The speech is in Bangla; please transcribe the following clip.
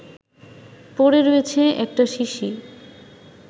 পড়ে রয়েছে একটা শিশি